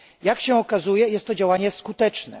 Jak się okazuje, jest to działanie skuteczne.